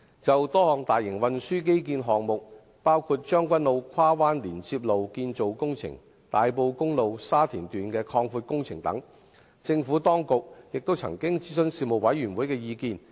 就多項大型運輸基建項目，包括將軍澳跨灣連接路─建造工程、大埔公路擴闊工程等，政府當局也曾諮詢事務委員會的意見。